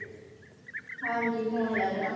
ਹਾਂਜੀ phone ਲੈ ਲੈਣਾ ਵਾਂ